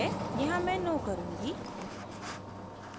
यहाँ मैं no करुँगी